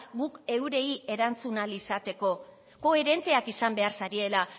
guk eurei erantzun ahal izateko koherenteak izan behar zariela